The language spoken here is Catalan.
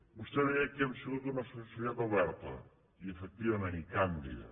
vostè deia que hem sigut una societat oberta i efectivament i càndida